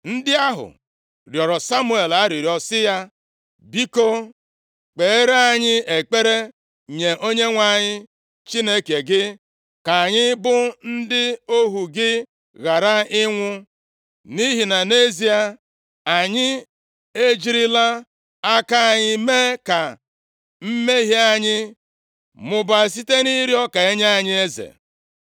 Ndị ahụ rịọrọ Samuel arịrịọ sị ya, “Biko kpeere anyị ekpere nye Onyenwe anyị Chineke gị ka anyị bụ ndị ohu gị ghara ịnwụ. Nʼihi na, nʼezie, anyị ejirila aka anyị mee ka mmehie anyị mụbaa site nʼịrịọ ka e nye anyị eze.”